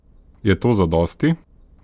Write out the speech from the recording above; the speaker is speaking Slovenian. Je to zadosti?